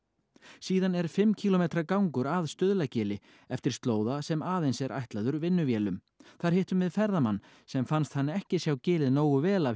síðan er fimm kílómetra gangur að Stuðlagili eftir slóða sem aðeins er ætlaður vinnuvélum þar hittum við ferðamann sem fannst hann ekki sjá gilið nógu vel af